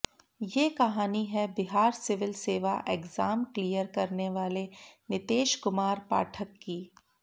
ये कहानी है बिहार सिविल सेवा एग्जाम क्लियर करने वाले नितेश कुमार पाठक की